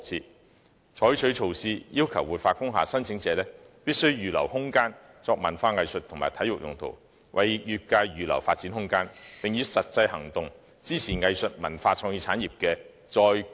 當局應採取措施，要求活化工廈申請者預留空間作文化藝術及體育用途，為業界預留發展空間，以實際行動支持藝術文化創意產業的"再工業化"。